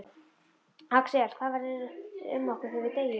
Axel: Hvað verður um okkur þegar við deyjum?